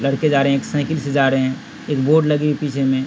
लड़के जा रहे हैं एक साईकल से जा रहे हैं | एक बोर्ड लगी है पीछे में |